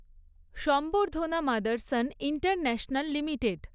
সম্বর্ধনা Motherson International limited